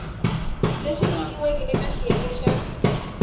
leswi nyikiweke eka xiyenge xa